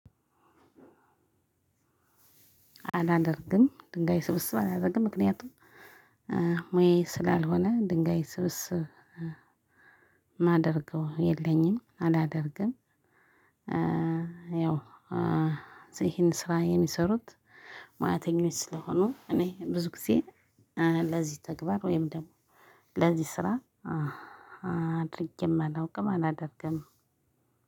አላደርግም ድንጋይ ስብስብ አላደርግም። ምክንያቱም ሙያዬ ስላልሆነ ድንጋይ ስብስብ ማደርገው የለኝም አላደርግም። ያው ይሄን ስራ የሚሰሩት ሙያተኞች ስለሆኑ እኔ ብዙ ጊዜ ለዚህ ተግባር ወይም ደግሞ ለዚህ ስራ አድርጌም አላውቅም አላደርግም።